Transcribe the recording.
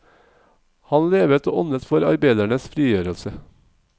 Han levet og åndet for arbeidernes frigjørelse.